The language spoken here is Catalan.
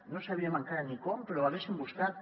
no sabíem encara ni com però ho haguéssim buscat